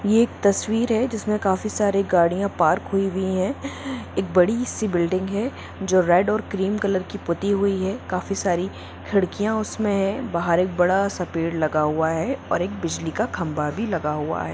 ये एक तस्वीर है जिसमें काफी सारे गाड़ियां पार्क हुई हुई है एक बड़ी सी है बिल्डिंग एक रेड और ग्रीन कलर की पुती हुई है काफी सारी खिड़कियाँ उसमे बाहर एक बड़ा सा पेड़ लगा हुआ है और एक बिजली का खंभा भी लगा हुआ है।